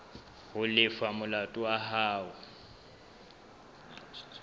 ho lefa molato wa hao